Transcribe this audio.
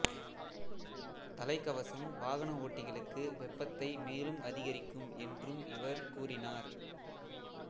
தலைகவசம் வாகன ஓட்டிகளுக்கு வெப்பத்தை மேலும் அதிகரிக்கும் என்றும் இவர் கூறினார்